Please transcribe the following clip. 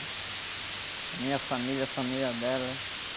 A minha família, a família dela.